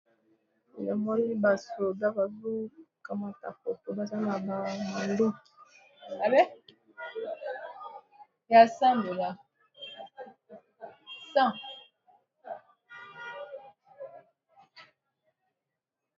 Na moni ba soda bazo kamata foto, baza na ba munduki.